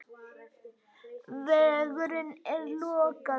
Vegurinn enn lokaður